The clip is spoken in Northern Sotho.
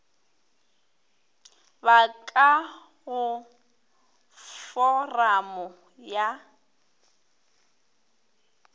ba ka go foramo ya